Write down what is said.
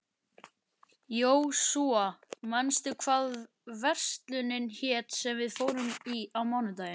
Jósúa, manstu hvað verslunin hét sem við fórum í á mánudaginn?